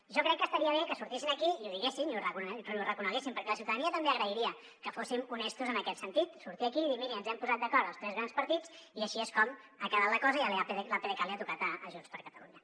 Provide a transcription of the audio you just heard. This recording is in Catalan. jo crec que estaria bé que sortissin aquí i ho diguessin i ho reconeguessin perquè la ciutadania també agrairia que fóssim honestos en aquest sentit sortir aquí i dir miri ens hem posat d’acord els tres grans partits i així és com ha quedat la cosa i l’apdcat li ha tocat a junts per catalunya